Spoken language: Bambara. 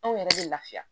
Anw yɛrɛ bɛ lafiya